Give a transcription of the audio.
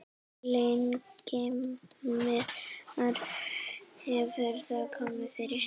Ingimar: Hefur það komið fyrir?